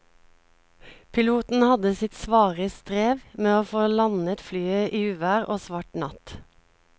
Piloten hadde sitt svare strev med å få landet flyet i uvær og svart natt.